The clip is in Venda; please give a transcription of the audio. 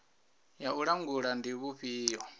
ya u langula ndi vhufhio